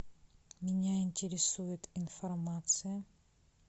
меня интересует информация